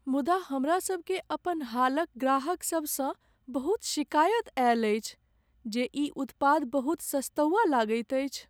मुदा, हमरा सभकेँ अपन हालक ग्राहक सबसँ बहुत शिकायत आयल अछि जे ई उत्पाद बहुत सस्तौआ लगैत अछि।